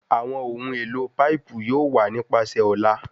Awọn ohun elo paipu yoo wa nipasẹ ọla